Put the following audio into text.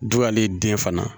Du y'ale den fana